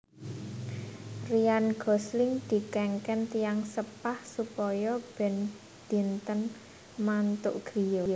Ryan Gosling dikengken tiyang sepah supaya ben dinten mantuk griya